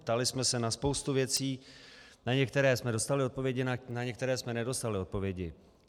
Ptali jsme se na spoustu věcí, na některé jsme dostali odpovědi, na některé jsme nedostali odpovědi.